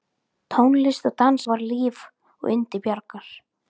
Tónlist og dans var líf og yndi Bjargar.